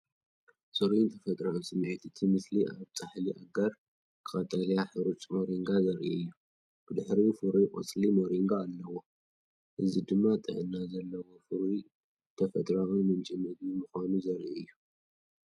ጽሩይን ተፈጥሮኣውን ስምዒት እቲ ምስሊ ኣብ ፃሕሊ ኣጋር ቀጠልያ ሐሩጭ ሞሪንጋ ዘርኢ ኮይኑ፡ ብድሕሪኡ ፍሩይ ቆጽሊ ሞሪንጋ ኣለዎ። እዚ ድማ ጥዕና ዘለዎን ፍሩይን ተፈጥሮኣዊ ምንጪ ምግቢ ምዃኑ ዘርኢ እዩ።